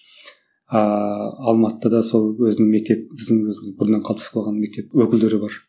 ааа алматыда да сол өзінің мектеп біздің өзіміздің бұрынан қалыптасып қалған мектеп өкілдері бар